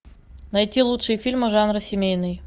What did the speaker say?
найти лучшие фильмы жанра семейный